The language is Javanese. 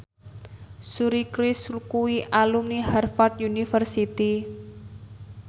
Suri Cruise kuwi alumni Harvard university